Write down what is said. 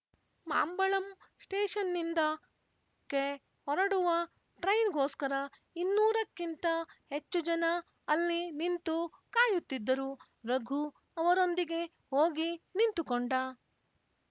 ಮಾಂಬಳಂ ಸ್ಟೇಷನ್‍ನಿಂದ ಕ್ಕೆ ಹೊರಡುವ ಟ್ರೈನ್‍ಗೋಸ್ಕರ ಇನ್ನೂರಕ್ಕಿಂತ ಹೆಚ್ಚು ಜನ ಅಲ್ಲಿ ನಿಂತು ಕಾಯುತ್ತಿದ್ದರು ರಘು ಅವರೊಂದಿಗೆ ಹೋಗಿ ನಿಂತುಕೊಂಡ